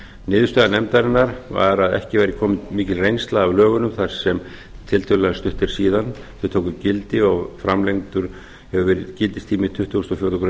niðurstaða nefndarinnar var að ekki væri komin mikil reynsla af lögunum þar sem tiltölulega stutt er síðan þau tóku gildi og framlengdur hefur verið gildistími tuttugasta og fjórðu grein